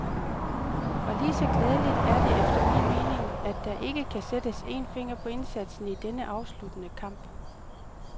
Og lige så glædeligt er det efter min mening, at der ikke kan sættes en finger på indsatsen i denne afsluttende kamp.